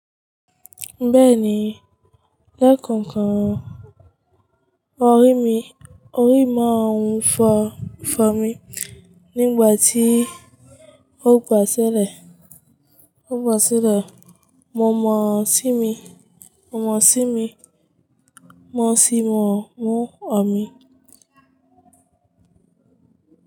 Bẹ́ẹ̀ni, lẹ́kànkan orí mi, orí mọ́ un fọ́ fọ mi nígbà tí ó kọ sẹ́lẹ̀, ó bọ sẹ́lẹ̀. Mo mọ̀ sími, mo mọ̀ sími, mo sì mọ̀ mú ọ̀mí.